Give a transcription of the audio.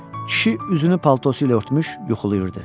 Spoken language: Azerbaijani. Kişi üzünü paltosu ilə örtmüş, yuxulayırdı.